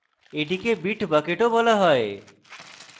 এটিকে bit bucket ও বলা হয়